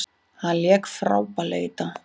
Hann lék frábærlega í dag.